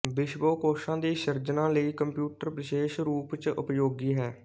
ਵਿਸ਼ਵਕੋਸ਼ਾਂ ਦੀ ਸਿਰਜਣਾ ਲਈ ਕੰਪਿਊਟਰ ਵਿਸ਼ੇਸ਼ ਰੂਪਚ ਉਪਯੋਗੀ ਹੈ